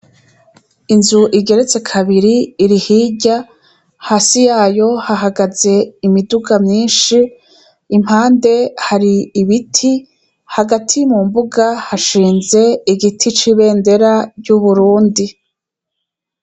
Inzu igeretse kabiri iri hirya, hasi yayo hahagaze imiduga myinshi, impande yayo hari ibiti, hagati mumbuga hashinze igiti c'ibendera ry'Uburundi.